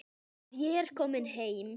Að ég er komin heim.